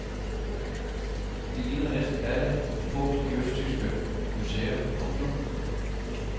De ligger næsten alle i depot i østtyske museer. punktum